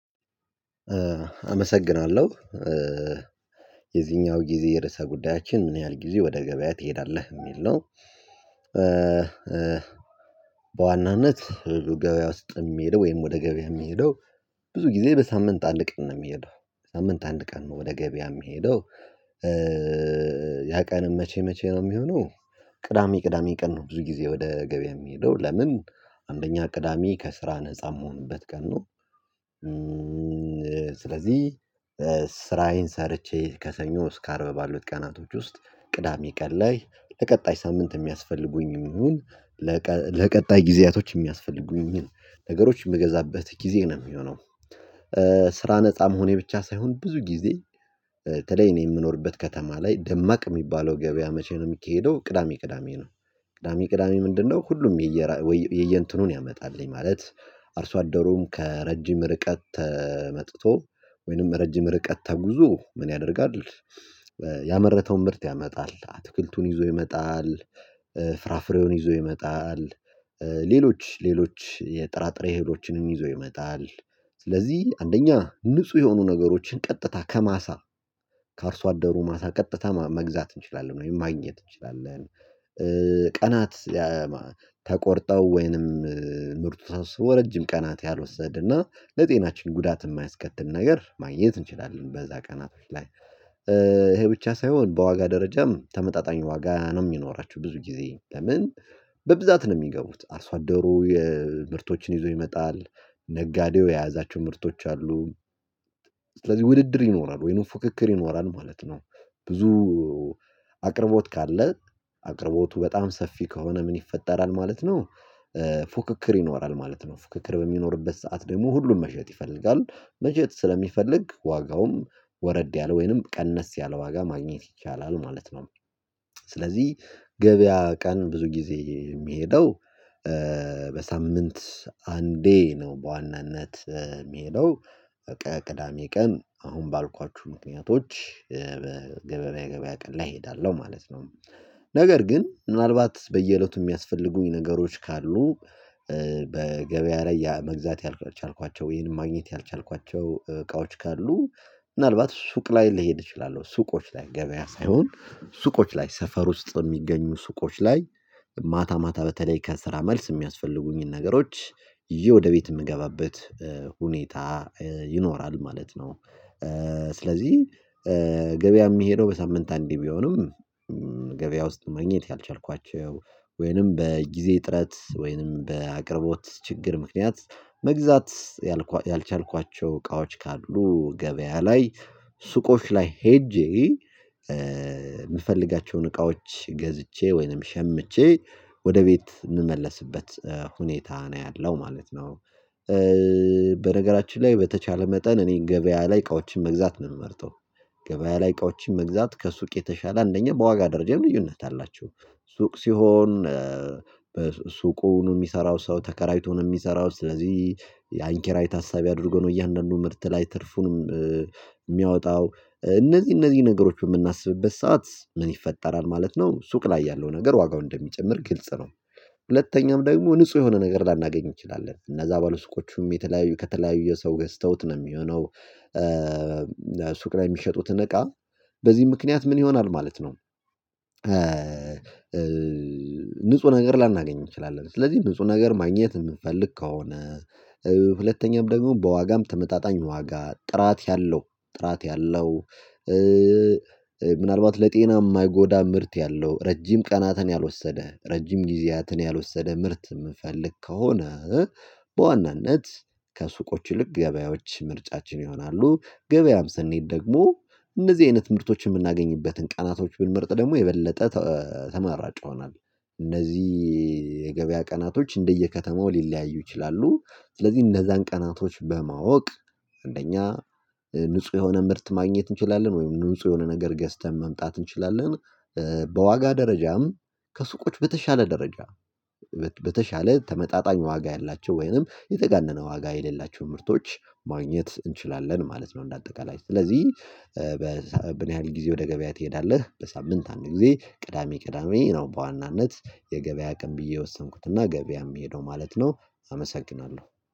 አመሰግናለሁ። የዚኛው ጊዜ የርዕሰ ጉዳያችን ምን ያህል ጊዜ ወደ ገበያ ትሄዳለህ የሚል ነው? በዋናነት ሁሌ ገበያ ውስጥ የምሄደው ወይም ወደ ገበያ የምሄደው። ብዙ ጊዜ በሳምንት አንድ ቀን ነው የምሄደው። ሳምንት አንድ ቀን ነው ወደ ገበያ የምሄደው። ያ ቀን መቼ መቼ ነው የሚሆነው? ቅዳሜ ቅዳሜ ቀን ነው ብዙ ጊዜ ወደ ገበያ የምሄደው ለምን አንደኛ ቅዳሜ ከስራ ነፃ የምሆንበት ቀን ነው። ስለዚህ ስራዬን ሰርቼ ከሰኞ እስከ አርብ ባሉት ቀናቶች ውስጥ ቅዳሜ ቀን ላይ ለቀጣይ ሳምንት የሚያስፈልጉኝ ይሁን ለቀ ለቀጣይ ጊዜያቶች የሚያስፈልጉኝ ነገሮች የምገዛበት ጊዜ ነው የሚሆነው። ስራ ነፃ መሆኔ ብቻ ሳይሆን ብዙ ጊዜ በተለይ እኔ የምኖርበት ከተማ ላይ ደማቅ የሚባለው ገበያ መቼ ነው የሚካሄደው ቅዳሜ ቅዳሜ ነው። ቅዳሜ ቅዳሜ ምንድነው? ሁሉም የየራ የእንትኑን ያመጣልኝ ማለት አርሶ አደሩም ከረጅም ርቀት መጥቶ ወይንም ረጅም ርቀት ተጉዞ ምን ያደርጋል? ያመረተውን ምርት ያመጣል አትክልቱን ይዞ ይመጣል ፍራፍሬውን ይዞ ይመጣል ሌሎች ሌሎች የጥራጥሬ እህሎችንም ይዞ ይመጣል። ስለዚህ አንደኛ ንጹህ የሆኑ ነገሮችን ቀጥታ ከማሳ ከአርሶ አደሩ ማሳ ቀጥታ መግዛት እንችላለን ወይም ማግኘት እንችላለን። ቀናት ተቆርጠው ወይንም ምርጡ ተሰብስቦ ረጅም ቀናት ያልወሰድ እና ለጤናችን ጉዳት የማያስከትል ነገር ማግኘት እንችላለን። በዛ ቀናቶች ላይ ይሄ ብቻ ሳይሆን በዋጋ ደረጃም ተመጣጣኝ ዋጋ ነው የሚኖራችው። ብዙ ጊዜ ለምን በብዛት ነው የሚገቡት አርሶ አደሩ የምርቶችን ይዞ ይመጣል። ነጋዴው የያዛቸው ምርቶች አሉ ሥለዚህ ውድድር ይኖራል ወይንም ፉክክር ይኖራል ማለት ነው። ብዙ አቅርቦት ካለ አቅርቦቱ በጣም ሰፊ ከሆነ ምን ይፈጠራል ማለት ነው? ፉክክር ይኖራል ማለት ነው ፉክክር በሚኖርበት ሰዓት ደግሞ ሁሉም መሸጥ ይፈልጋል መሸጥ ስለሚፈልግ ዋጋውም ወረድ ያለ ወይንም ቀነስ ያለ ዋጋ ማግኘት ይቻላል ማለት ነው። ሥለዚህ ገበያ ቀን ብዙ ጊዜ የምሄደው በሳምንት አንዴ ነው በዋናነት የምሄደው። በቃ ቅዳሜ ቀን አሁን ባልኳችሁ ምክንያቶች ገበያ ቀን ላይ እሄዳለሁ ማለት ነው። ነገር ግን ምናልባት በየእለቱ የሚያስፈልጉኝ ነገሮች ካሉ በገበያ ላይ መግዛት ያልቻልኳቸው ወይንም ማግኘት ያልቻልኳቸው እቃዎች ካሉ ምናልባት ሱቅ ላይ ልሄድ እችላለሁ። ሱቆች ላይ ገበያ ሳይሆን ሱቆች ላይ ሰፈር ውስጥ የሚገኙ ሱቆች ላይ ማታ ማታ በተለይ ከስራ መልስ የሚያስፈልጉኝን ነገሮች ይዤ ወደ ቤት የምገባበት ሁኔታ ይኖራል ማለት ነው። ሥለዚህ ገበያ የምሄደው በሳምንት አንዴ ቢሆንም ገበያ ውስጥ ማግኘት ያልቻልኳቸው ወይንም በጊዜ ጥረት ወይንም በአቅርቦት ችግር ምክንያት መግዛት ያልቻልኳቸው እቃዎች ካሉ ገበያ ላይ ሱቆች ላይ ሄጄ የምፈልጋቸውን እቃዎች ገዝቼ ወይንም ሸምቼ ወደ ቤት እምመለስበት ሁኔታ ነው ያለው ማለት ነው። በነገራችን ላይ በተቻለ መጠን እኔን ገበያ ላይ እቃዎችን መግዛት ነው የምመርጠው። ገበያ ላይ እቃዎችን መግዛት ከሱቅ የተሻለ አንደኛ በዋጋ ደረጃ ልዩነት አላቸው። ሱቅ ሲሆን ሱቁን የሚሰራው ሰው ተከራይቶ ነው የሚሰራው ስለዚህ። ያን ኪራይ ታሳቢ አድርጎ ነው እያንዳንዱ ምርት ላይ ትርፉንም የሚያወጣው እነዚህ እነዚህ ነገሮች በምናስብበት ሰዓት ምን ይፈጠራል ማለት ነው? ሱቅ ላይ ያለው ነገር ዋጋው እንደሚጨምር ግልጽ ነው። ሁለተኛም ደግሞ ንጹህ የሆነ ነገር ላናገኝ እንችላለን እነዛ ባለሱቆቹም የተለያዩ ከተለያዩ የሰው ገዝተውት ነው የሚሆነው። ሱቅ ላይ የሚሸጡትን እቃ በዚህ ምክንያት ምን ይሆናል ማለት ነው? ንጹህ ነገር ላናገኝ እንችላለን ስለዚህ ንጹህ ነገር ማግኘት የምንፈልግ ከሆነ። ሁለተኛም ደግሞ በዋጋም ተመጣጣኝ ዋጋ ጥራት ያለው ጥራት ያለው ምናልባት ለጤና የማይጎዳ ምርት ያለው ረጅም ቀናትን ያልወሰደ ረጅም ጊዜያትን ያልወሰደ ምርት የምንፈልግ ከሆነ። በዋናነት ከሱቆች ይልቅ ገበያዎች ምርጫችን ይሆናሉ። ገበያም ስንሄድ ደግሞ እነዚህ አይነት ምርቶችን የምናገኝበትን ቀናቶች ብንመርጥ ደግሞ የበለጠ ተ ተማራጭ ይሆናል። እነዚህ የገበያ ቀናቶች እንደየከተማው ሊለያዩ ይችላሉ። ስለዚህ እነዛን ቀናቶች በማወቅ አንደኛ ንጹህ የሆነ ምርት ማግኘት እንችላለን ወይም ንጹህ የሆነ ነገር ገዝተን መምጣት እንችላለን። በዋጋ ደረጃም ከሱቆች በተሻለ ደረጃ በተሻለ ተመጣጣኝ ዋጋ ያላቸው ወይንም የተጋነነ ዋጋ የሌላቸው ምርቶች ማግኘት እንችላለን ማለት ነው እንደ አጠቃላይ ሥለዚህ። በምን ያህል ጊዜ ወደ ገበያ ትሄዳለህ? በሳምንት አንድ ጊዜ ቅዳሜ ቅዳሜ ነው በዋናነት የገበያ አቅም ብዬ የወሰንኩትና ገበያ የምሄደው ማለት ነው። አመሰግናለሁ